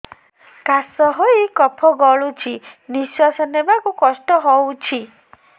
କାଶ ହେଇ କଫ ଗଳୁଛି ନିଶ୍ୱାସ ନେବାକୁ କଷ୍ଟ ହଉଛି